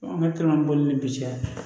An ka boli ni bi cɛ